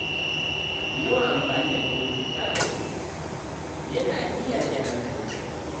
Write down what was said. Yawan amfani da kafofin sada zumunta yana iya rage hankalin mutum.